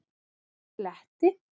Kletti